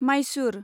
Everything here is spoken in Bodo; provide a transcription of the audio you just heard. माइसुर